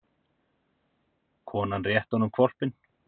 Konan rétti honum hvolpinn.